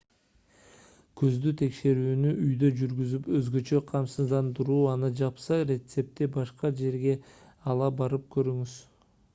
көздү текшерүүнү үйдө жүргүзүп өзгөчө камсыздандыруу аны жапса рецептти башка жерге ала барып көрүңүз